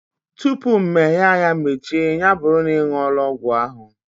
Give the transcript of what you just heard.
Tụpụ mmehie anya mechie, ya bụrụ na ị nwuola ọgwụ ahụ